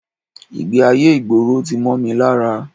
Ìgbé-ayé ìgboro tí mọ́ mi lára